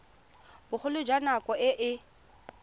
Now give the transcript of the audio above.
bogolo jwa nako e e